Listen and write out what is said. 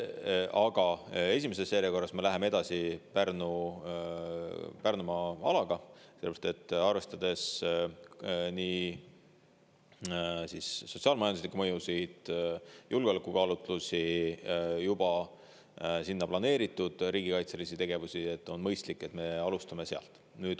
Aga esimeses järjekorras me läheme edasi Pärnumaa alaga, sest arvestades nii sotsiaal-majanduslikke mõjusid, julgeolekukaalutlusi kui ka juba sinna planeeritud riigikaitselisi tegevusi, on mõistlik, et me alustame sealt.